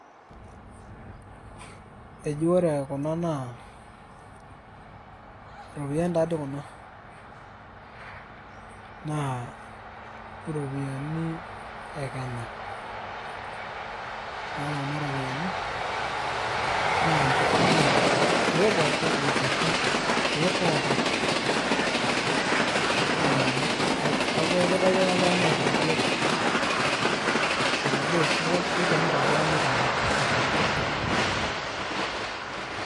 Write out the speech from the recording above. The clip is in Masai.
eji ore kuna naa iropiyiani naa iropiyiani naa inekenya naa inkeek pooki enchata naa kajo kitayio ake oltung'ani aragie naa kajo kikenita tenkop.